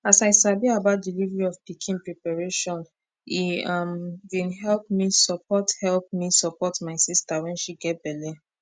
as i sabi about delivery of pikin preparation e um bin help me support help me support my sister when she get belle